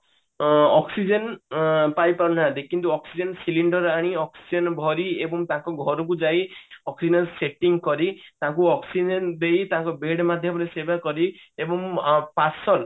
ଅ oxygen ଅ ପାଇପାରିନେ କିନ୍ତୁ oxygen cylinder ଆଣି oxygen ଭରି ଏବଂ ତାଙ୍କ ଘରକୁ ଯାଇ oxygen setting କରି ତାଙ୍କୁ oxygen ଦେଇ ତାଙ୍କ bed ମାଧ୍ୟମରେ ସେବା କରି ଏବଂ ଅ parcel